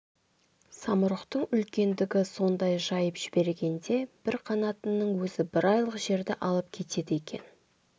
самұрықтың үлкендігі сондай жайып жібергенде бір қанатының өзі бір айлық жерді алып кетеді екен